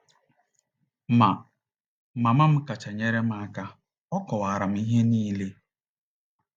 Ma, mama m kacha nyere m aka. Ọ kọwaara m ihe niile.